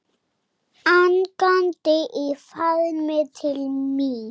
Angandi í faðminn til mín.